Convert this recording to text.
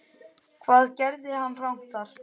Hvað gerði hann rangt þar?